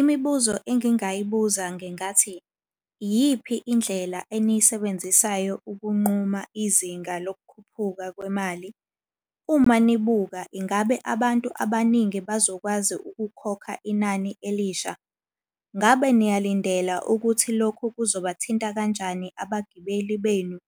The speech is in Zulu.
Imibuzo engingayibuza ngingathi, iyiphi indlela eniyisebenzisayo ukunquma izinga lokukhuphuka kwemali? Uma nibuka ingabe abantu abaningi bazokwazi ukukhokha inani elisha? Ngabe niyalindela ukuthi lokhu kuzobathinta kanjani abagibeli benu?